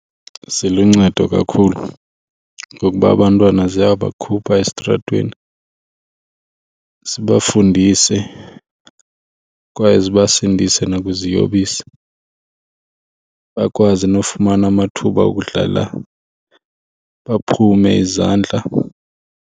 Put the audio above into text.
Ziluncedo kakhulu ngokuba abantwana ziyabakhupha esitratweni, zibafundise kwaye zibasindise nakwiziyobisi, bakwazi nofumana amathuba okudlala baphume izandla.